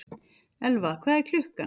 Elfa, hvað er klukkan?